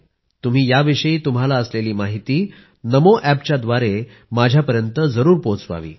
तुम्ही याविषयी तुम्हाला असलेली माहिती नमो अॅपच्याव्दारे माझ्यापर्यंत जरूर पोहोचवावी